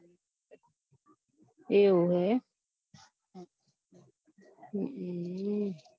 એવું હૈ એમ હમ